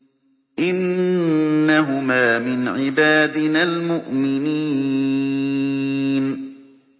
إِنَّهُمَا مِنْ عِبَادِنَا الْمُؤْمِنِينَ